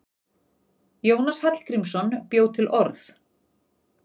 Jónas Hallgrímsson bjó til orð.